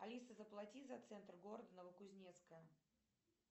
алиса заплати за центр города новокузнецка